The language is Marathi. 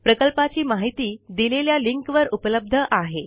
प्रकल्पाची माहिती दिलेल्या लिंकवर उपलब्ध आहे